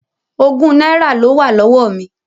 Ogún náírà ló wà lọ́wọ́ mi.